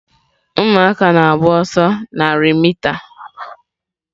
Ụmụaka na-agba ọsọ narị mita.